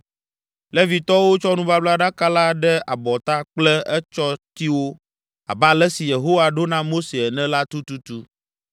Levitɔwo tsɔ nubablaɖaka la ɖe abɔta kple etsɔtiwo abe ale si Yehowa ɖo na Mose ene la tututu.